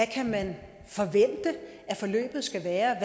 kan man forvente at forløbet skal være